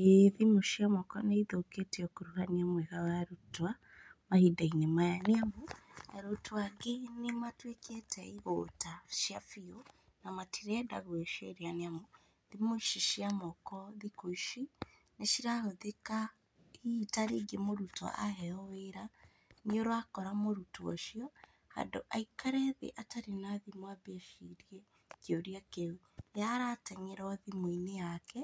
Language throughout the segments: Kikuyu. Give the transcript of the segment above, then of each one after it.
Ĩ thimũ nĩithũkĩtie ũkuruhania mwega wa arutwo mahinda-inĩ maya, rĩu, arutwo angĩ nĩmatwĩkĩte igũta cia biũ, na matirenda gwĩciria nĩamu, thimũ ici cia moko nĩcirahũthĩka hihi ta rĩngĩ mũrutwo aheo wĩra, nĩũrakora mũrutwo ũcio, handũ ha aikare thĩ atarĩ na thimũ ambe ecirie kĩũria kĩu, ye arateng'era thimũ-inĩ yake,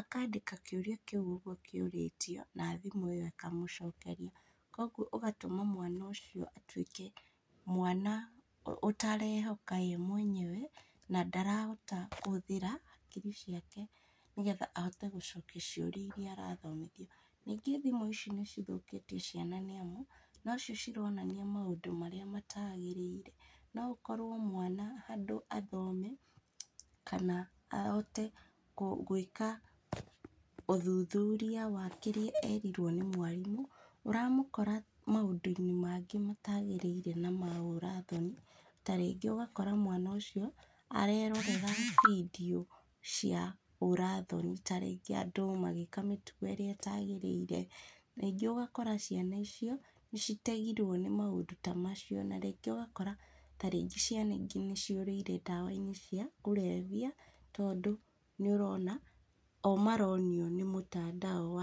akandĩka kĩũria kĩu ũguo kĩũrĩtie, na thimũ ĩyo ĩkamũcokeria, koguo ũgatũma mwana ũcio atwĩke mwana aterehoka ye mwenyewe, na ndarahota kũhũthĩra hakiri ciake nĩgetha ahote gũcokia ciũrĩa iria arathomithio, ningĩ thimũ ici nĩcithũkĩtie ciana nĩamu, nocio cironania maũndũ marĩa matagĩrĩire, noũkorwo mwana handũ ha athome, kana ahote kũ gwĩka ũthuthuria wa kĩrĩa erirwo nĩ mwarimũ, ũramũkora maũndũ-inĩ mangĩ matagĩrĩire na ma ũra thoni, ta rĩngĩ ũgakora mwana ũcio arerorera video cia ũra thoni, ta rĩngĩ andũ magĩka mĩtugo írĩa ĩtagĩrĩire, rĩngĩ ũgakora ciana icio nĩcitegirwo nĩ maũndũ ta macio, na rĩngĩ ũgakora ta rĩngĩ ciana ingĩ nĩciũrĩire ndawa-inĩ cia, kũrebia, tondũ nĩũrona, o maronio nĩ mũtandao wa.